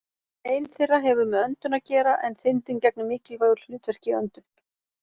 Ein þeirra hefur með öndun að gera en þindin gegnir mikilvægu hlutverki í öndun.